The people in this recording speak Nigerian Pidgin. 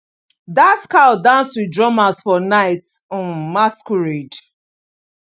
that cow dance with drummers for night um masquerade